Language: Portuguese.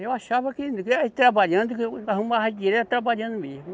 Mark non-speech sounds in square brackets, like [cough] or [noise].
Eu achava que, [unintelligible] trabalhando, [unintelligible] e arrumava dinheiro é trabalhando mesmo.